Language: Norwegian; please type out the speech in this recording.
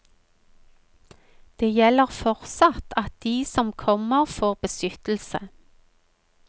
Det gjelder fortsatt at de som kommer får beskyttelse.